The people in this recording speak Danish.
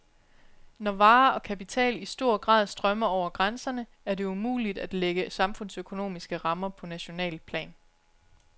Når varer og kapital i stor grad strømmer over grænserne, er det umuligt at lægge samfundsøkonomiske rammer på nationalt plan.